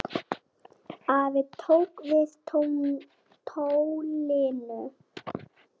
Afi tók við tólinu.